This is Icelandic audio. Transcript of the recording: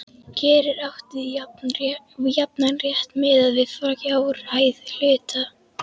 Hér er átt við jafnan rétt miðað við fjárhæð hluta.